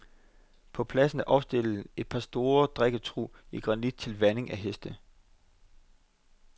På pladsen er opstillet et par store drikketrug i granit til vanding af heste.